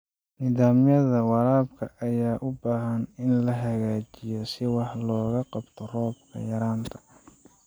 Nidaamyada waraabka ayaa u baahan in la hagaajiyo si wax looga qabto roob yaraanta.